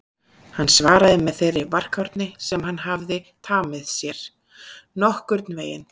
Hann svaraði með þeirri varkárni sem hann hafði tamið sér: Nokkurn veginn